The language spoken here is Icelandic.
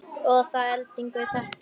Og að endingu þetta.